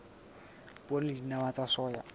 poone le dinawa tsa soya